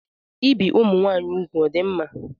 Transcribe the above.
Ibi ụmụnwaanyị ugwu ọ dị mma?